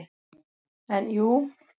En jú.